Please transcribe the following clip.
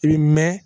I bi mɛn